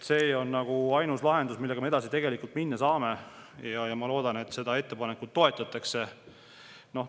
See on ainus lahendus, millega me tegelikult edasi minna saame, ja ma loodan, et seda ettepanekut toetatakse.